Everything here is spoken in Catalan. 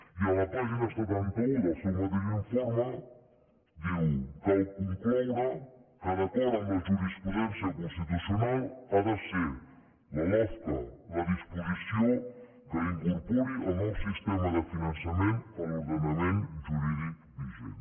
i en la pàgina setanta un del seu mateix informe diu cal concloure que d’acord amb la jurisprudència constitucional ha de ser la lofca la disposició que incorpori el nou sistema de finançament a l’ordenament jurídic vigent